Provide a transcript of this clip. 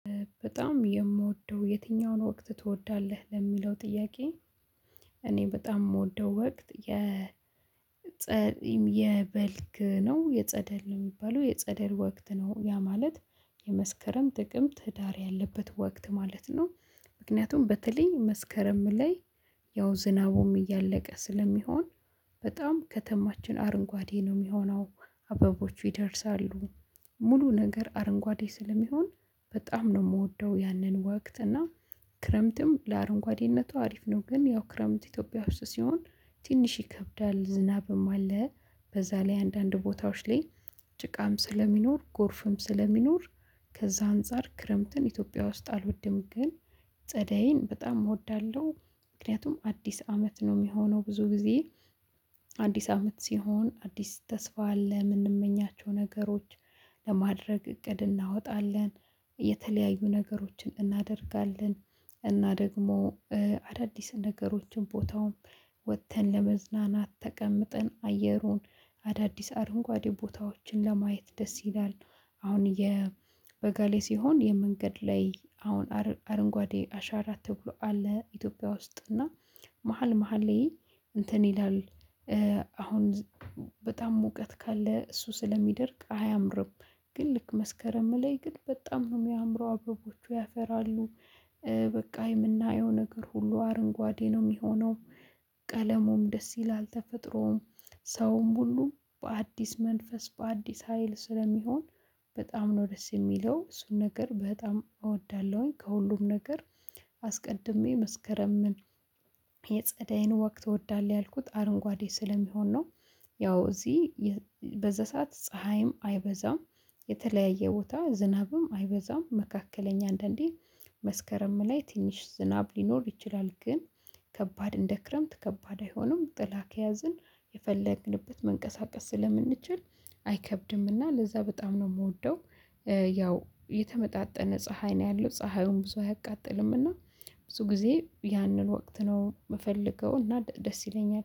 በጣም የምወደው የትኛውን ወቅት ትወዳለህ ለሚለው ጥያቄ? እኔ በጣም የምወደው ወቅት የጸደል የበልግ ነው የጸደል ነው የሚባለው የጸደል ወቅት ነው ያ ማለት የመስከረም ጥቅምት ህዳር ያለበት ወቅት ማለት ነው። ምክንያቱም በተለይ መስከረም ላይ ያው ዝናቡም እያለቀ ስለሚሆን በጣም ከተማችን አረንጓዴ ነው የሚሆነው አበቦቹ ይደርሳሉ። ሙሉ ነገር አረንጓዴ ስለሚሆን በጣም ነው የምወደው ያንን ወቅት እና። ክረምትም ለአረንጓዴነቱ አሪፍ ነው ግን ያው ክረምት ኢትዮጵያ ውስጥ ሲሆን ትንሽ ይከብዳል ዝናብም አለ። በዛ ላይ አንዳንድ ቦታዎች ላይ ጭቃም ስለሚኖር ጎርፍም ስለሚኖር ከዛ አንፃር ክረምትን ኢትዮጵያ ውስጥ አልወድም ግን ፀደይን በጣም እወዳለሁ። ምክንያቱም አዲስ አመት ነው የሚሆነው ብዙ ጊዜ። አዲስ አመት ሲሆን አዲስ ተስፋ አለ የምንመኛቸው ነገሮች ለማድረግ እቅድ እናወጣለን። የተለያዩ ነገሮችን እናደርጋለን። እና ደግሞ አዳዲስ ነገሮችን ቦታውን ወጥተን ለመዝናናት ተቀምጠን አየሩን አዳዲስ አረንጓዴ ቦታዎችን ለማየት ደስ ይላል። አሁን የበጋ ላይ ሲሆን የመንገድ ላይ አሁን አረንጓዴ አሻራ ተብሎ አለ ኢትዮጵያ ውስጥ እና መሃል መሃል ላይ እንትን ይላል። አሁን በጣም ሙቀት ካለ እሱ ስለሚደርቅ አያምርም። ግን ልክ መስከረም ላይ ግን በጣም ነው የሚያምረው አበቦቹ ያፈራሉ። በቃ የምናየው ነገር ሁሉ አረንጓዴ ነው የሚሆነው። ቀለሙም ደስ ይላል ተፈጥሮም ሰውም ሁሉ በአዲስ መንፈስ በአዲስ ሀይል ስለሚሆን በጣም ነው ደስ የሚለው። እሱን ነገር በጣም እወዳለሁኝ ከሁሉም ነገር አስቀድሜ መስከረምን የጸደይን ወቅት ትወዳለህ ያልኩት አረንጓዴ ስለሚሆን ነው። ያው እዚህ በዛ ሰዓት ፀሀይም አይበዛም። የተለያየ ቦታ ዝናብም አይበዛም መካከለኛ አንዳንዴ መስከረም ላይ ትንሽ ዝናብ ሊኖር ይችላል ግን። ከባድ እንደ ክረምት ከባድ አይሆንም ጥላ ከያዝን የፈለግንበት መንቀሳቀስ ስለምንችል አይከብድምና ለዛ በጣም ነው የምወደው። ያው የተመጣጠነ ፀሀይ ነው ያለው ፀሀዩን ብዙ አያቃጥልም እና ብዙ ጊዜ ያንን ወቅት ነው የምፈልገው እና ደስ ይለኛል